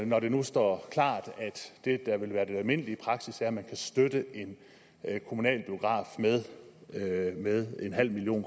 når det nu står klart at det der vil være den almindelige praksis er at man kan støtte en kommunal biograf med en halv million